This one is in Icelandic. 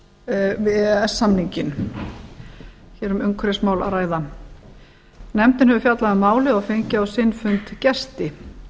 e e s samninginn hér er um umhverfismál að ræða nefndin hefur fjallað um málið og fengið á sinn fund gesti